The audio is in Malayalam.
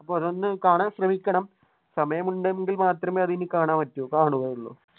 അപ്പൊ അതൊന്ന് കാണാൻ ശ്രമിക്കണം സമയമുണ്ടെങ്കിൽ മാത്രമേ അതിനി കാണാൻ പറ്റുള്ളൂ കാണു.